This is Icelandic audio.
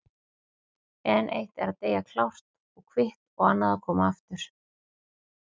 En eitt er að deyja klárt og kvitt og annað að koma aftur.